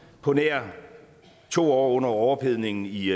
på nær i to år under overophedningen i